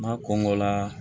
N'a kɔngɔ la